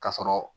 Ka sɔrɔ